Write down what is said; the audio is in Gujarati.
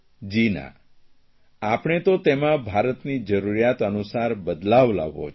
જી ના આપણે તો તેમાં ભારતની જરૂરિયાત અનુસાર બદલાવ લાવવો છે